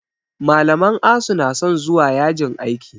Malaman asu na son zuwa yajin aiki